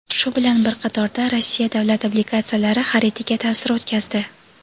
shu bilan bir qatorda Rossiya davlat obligatsiyalari xaridiga ta’sir o‘tkazdi.